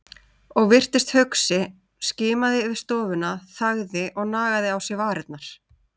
Og virtist hugsi, skimaði yfir stofuna, þagði og nagaði á sér varirnar.